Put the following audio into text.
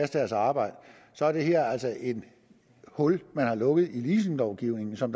deres arbejde er det her altså et hul man har lukket i leasinglovgivningen som